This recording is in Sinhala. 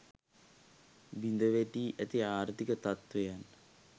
බිඳ වැටී ඇති ආර්ථික තත්ත්වයන්